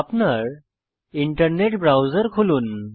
আপনার internet browser খুলুন